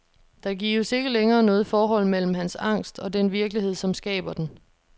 Der gives ikke længere noget forhold mellem hans angst og den virkelighed, som skaber den.